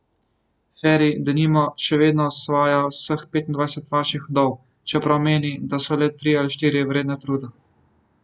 Feri, denimo, še vedno osvaja vseh petindvajset vaških vdov, čeprav meni, da so le tri ali štiri vredne truda.